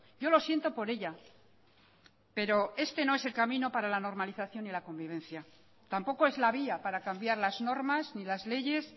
yo lo siento por ella pero este no es el camino para la normalización y la convivencia tampoco es la vía para cambiar las normas ni las leyes